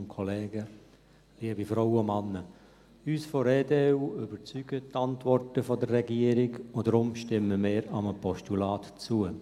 Uns von der EDU überzeugen die Antworten der Regierung, und deshalb stimmen wir einem Postulat zu.